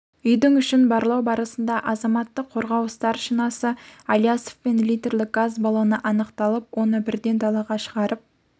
үйдің ішін барлау барысында азаматтық қорғау старшинасы алиясовпен литрлік газ баллоны анықталып оны бірден далаға шығарып